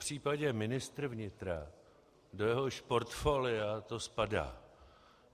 Popřípadě ministr vnitra, do jehož portfolia to spadá.